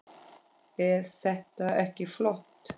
Eð þetta ekki flott?